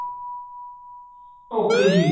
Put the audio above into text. okay ਜੀ